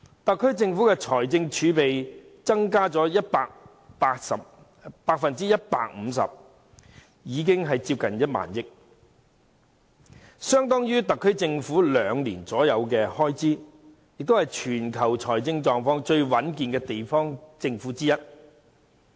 特區政府的財政儲備增加了 150%， 接近1萬億元，相當於特區政府約兩年的開支，也是全球財政狀況最穩健的地方政府之一。